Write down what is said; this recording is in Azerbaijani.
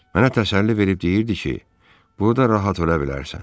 Mənə təsəlli verib deyirdi ki, burda rahat ölə bilərsən.